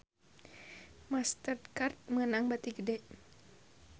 Master Card meunang bati gede